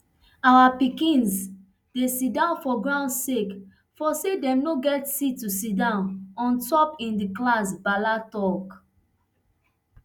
our pikins dey sidon for ground sake of say dem no get seat to sidon on top in di class bala tok